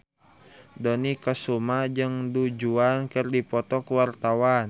Dony Kesuma jeung Du Juan keur dipoto ku wartawan